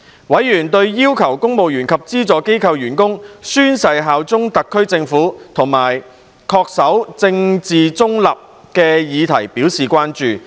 委員對要求公務員及資助機構員工宣誓效忠特區政府及恪守政治中立的議題表示關注。